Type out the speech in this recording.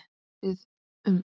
Hugsið um það.